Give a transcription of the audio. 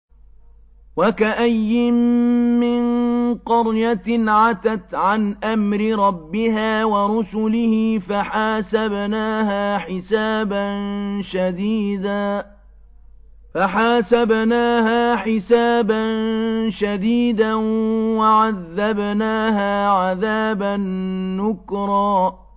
وَكَأَيِّن مِّن قَرْيَةٍ عَتَتْ عَنْ أَمْرِ رَبِّهَا وَرُسُلِهِ فَحَاسَبْنَاهَا حِسَابًا شَدِيدًا وَعَذَّبْنَاهَا عَذَابًا نُّكْرًا